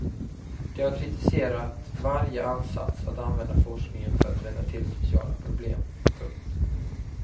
De har kritiserat varje ansats att använda forskningen för att rätta till sociala problem. punkt